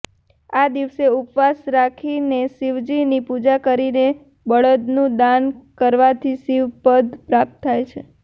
આ દિવસે ઉપવાસ રાખીને શિવજીની પૂજા કરીને બળદનું દાન કરવાથી શિવ પદ પ્રાપ્ત થાય છે